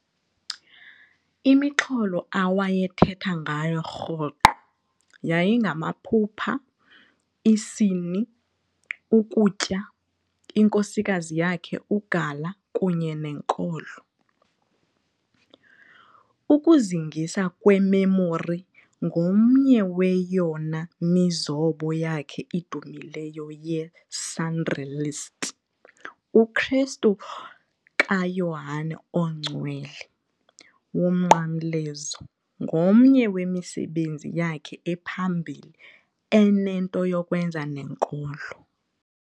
Imixholo awayethetha ngayo rhoqo yayingamaphupha, isini, ukutya, inkosikazi yakhe uGala kunye nenkolo. Ukuzingisa kweMemori ngomnye weyona mizobo yakhe idumileyo ye-surrealist, uKrestu kaYohane oNgcwele woMnqamlezo ngomnye wemisebenzi yakhe ephambili enento yokwenza nenkolo.